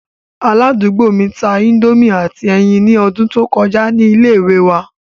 Aladugbo mi ta indomie ati ẹyin ni ọdun to kọja ni ile-iwe wa